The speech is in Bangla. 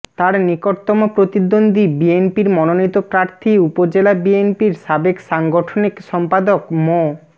তার নিকটতম প্রতিদ্বন্দ্বী বিএনপির মনোনীত প্রার্থী উপজেলা বিএনপির সাবেক সাংগঠনিক সম্পাদক মো